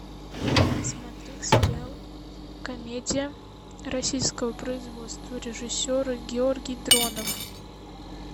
смотреть сериал комедия российского производства режиссера георгий дронов